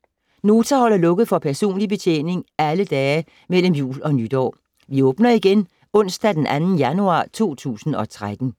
Nota holder lukket for personlig betjening alle dage mellem jul og nytår. Vi åbner igen onsdag den 2. januar 2013.